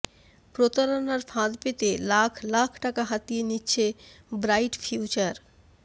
প্রতারণার ফাঁদ পেতে লাখ লাখ টাকা হাতিয়ে নিচ্ছে ব্রাইট ফিউচার